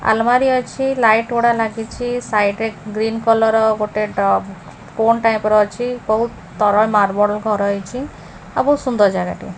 ଆଲମାରୀ ଅଛି। ଲାଇଟ୍ ଗୁଡା ଲାଗିଚି। ସାଇଟ ରେ ଗ୍ରିନ୍ କଲର୍ ର ଗୋଟେ ଟକ୍ ପୋନ ଟାଇପର୍ ଅଛି। ବହୁତ୍ ତରେ ମାର୍ବଲ ଘର ହେଇଚି। ଆଉ ବହୁତ୍ ସୁନ୍ଦର ଜାଗା ଟିଏ।